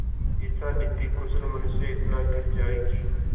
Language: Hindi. ऐसा नीतिकुशल मनुष्य इतना गिर जाए कि